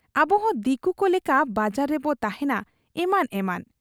ᱟᱵᱚᱦᱚᱸ ᱫᱤᱠᱩᱠᱚ ᱞᱮᱠᱟ ᱵᱟᱡᱟᱨ ᱨᱮᱵᱚ ᱛᱟᱦᱮᱸᱱᱟ ᱮᱢᱟᱱ ᱮᱢᱟᱱ ᱾